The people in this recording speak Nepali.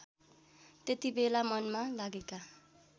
त्यतिबेला मनमा लागेका